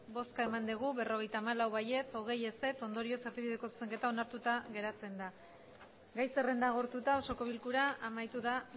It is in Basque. bai berrogeita hamalau ez hogei ondorioz erdibideko zuzenketa onartuta geratzen da gai zerrenda agortuta osoko bilkura amaituta